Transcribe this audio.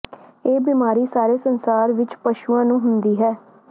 ਇਹ ਬਿਮਾਰੀ ਸਾਰੇ ਸੰਸਾਰ ਵਿੱਚ ਪਸ਼ੂਆਂ ਨੂੰ ਹੁੰਦੀ ਹੈ